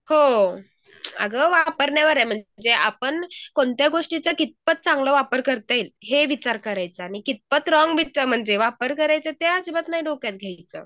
हो अगं वापरण्यावर आहे म्हणजे आपण कोणत्या गोष्टीचा कितपत चांगलं वापर करतील हे विचार करायचा आणि कितपत रॉंग वापर करायचा ते अजिबात नाही डोक्यात घ्यायचं चांगल्या गोष्टी करून